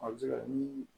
A bɛ se ka ni